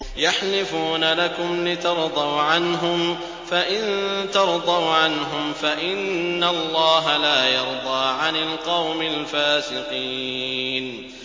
يَحْلِفُونَ لَكُمْ لِتَرْضَوْا عَنْهُمْ ۖ فَإِن تَرْضَوْا عَنْهُمْ فَإِنَّ اللَّهَ لَا يَرْضَىٰ عَنِ الْقَوْمِ الْفَاسِقِينَ